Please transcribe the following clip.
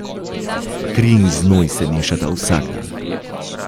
Kri in znoj se mešata vsak dan.